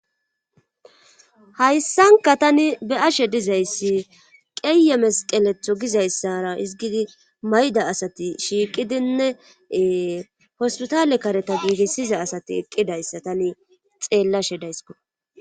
Hayssanka tani be ashe dizayssi qeeye mesqeletho gizayssara izgidi mayda asati shiiqidinne hospitale kareta giigissiza asati eqqidayssa tani xeellashe daysko.